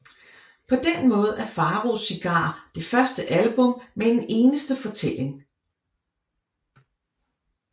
På den måde er Faraos cigarer det første album med en eneste fortælling